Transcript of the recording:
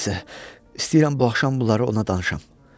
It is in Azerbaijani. Nəysə, istəyirəm bu axşam bunları ona danışam.